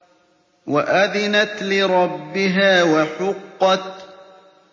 وَأَذِنَتْ لِرَبِّهَا وَحُقَّتْ